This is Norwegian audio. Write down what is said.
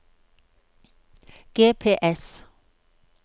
GPS